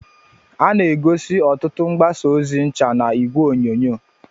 a na-egosi ọtụtụ mgbasa ozi ncha na igwe onyonyo